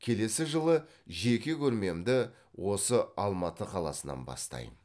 келесі жылы жеке көрмемді осы алматы қаласынан бастайм